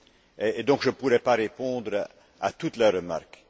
Et donc, je ne pourrai pas répondre à toutes les remarques.